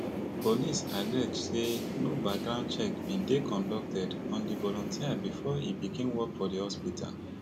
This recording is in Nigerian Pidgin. police allege say no background checks bin dey conducted on di volunteer bifor e begin work for di hospital